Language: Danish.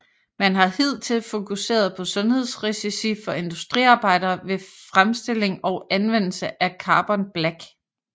Man har hidtil fokuseret på sundhedsrisici for industriarbejdere ved fremstilling og anvendelse af Carbon black